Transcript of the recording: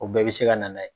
O bɛɛ bɛ se ka na ye